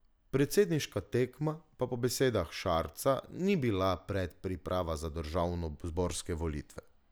Predsedniška tekma pa po besedah Šarca ni bila predpriprava za državnozborske volitve.